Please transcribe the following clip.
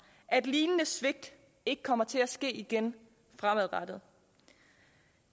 at lignende svigt ikke kommer til at ske igen fremadrettet